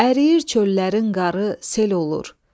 Əriyir çöllərin qarı, sel olur.